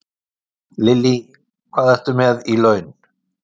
Lillý: Hvað ertu með í laun?